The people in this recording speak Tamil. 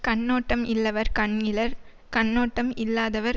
கண்ணோட்டம் இல்லவர் கண்இலர் கண்ணோட்டம் இல்லாதவர்